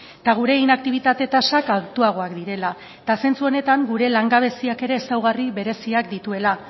eta gure inaktibitate tasak altuagoak direla zentzu honetan gure langabeziak ere ezaugarri bereziak dituela